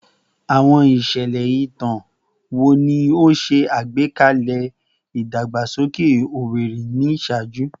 Awọn iṣẹlẹ itan wo ni o ṣe agbekalẹ idagbasoke Owerri ni iṣaaju?